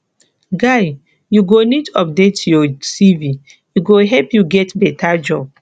guy you go need update your cv e go help you get beta job